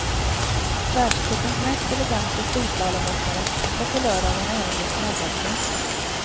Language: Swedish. Världscupens mest elegante storslalomåkare var på lördagen även dess snabbaste.